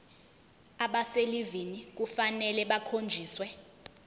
abaselivini kufanele bakhonjiswe